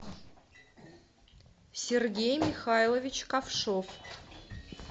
сергей михайлович ковшов